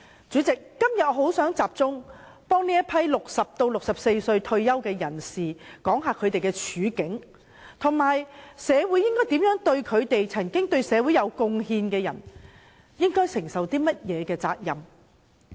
主席，今天我想集中反映60至64歲退休人士的處境，以及社會應該如何照顧這些對社會有貢獻的人，擔起甚麼責任？